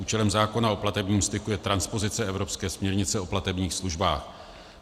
Účelem zákona o platebním styku je transpozice evropské směrnice o platebních službách.